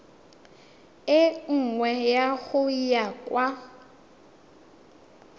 e nngwe go ya kwa